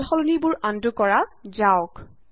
সালসলনিবোৰ undo কৰা যাওক